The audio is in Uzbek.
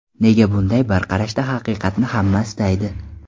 Nega bunday, bir qarashda haqiqatni hamma istaydi?